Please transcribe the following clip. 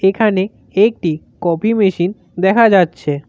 এখানে একটি coffee machine দেখা যাচ্ছে।